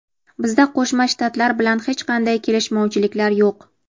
Bizda Qo‘shma Shtatlar bilan hech qanday kelishmovchiliklar yo‘q.